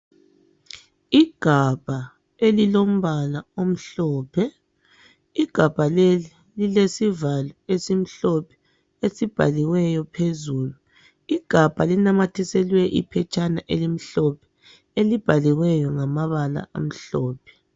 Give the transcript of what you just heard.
Igabha elilombala omhlophe. Igabha leli lilesivalo esimhlophe esibhaliweyo phezulu. Igabha linamathiselwe iphetshana elimhlophe, elibhaliweyo ngamabala amhlophe.